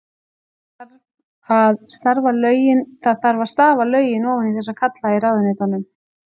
Það þarf að stafa lögin ofan í þessa kalla í ráðuneytunum.